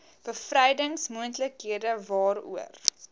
bevrydings moontlikhede waaroor